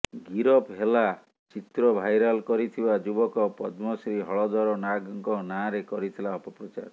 ଗିରଫ ହେଲା ଚିତ୍ର ଭାଇରାଲ କରିଥିବା ଯୁବକ ପଦ୍ମଶ୍ରୀ ହଳଧର ନାଗଙ୍କ ନାଁରେ କରିଥିଲା ଅପପ୍ରଚାର